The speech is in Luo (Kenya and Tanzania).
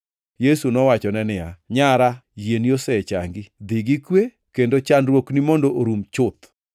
Yesu nowachone niya, “Nyara yieni osechangi. Dhi gi kwe kendo chandruokni mondo orum chuth.”